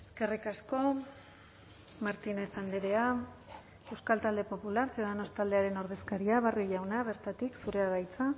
eskerrik asko martínez andrea euskal talde popular ciudadanos taldearen ordezkaria barrio jauna bertatik zurea da hitza